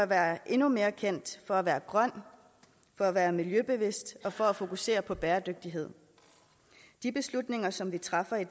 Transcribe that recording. være endnu mere kendt for at være grøn for at være miljøbevidst og for at fokusere på bæredygtighed de beslutninger som vi træffer i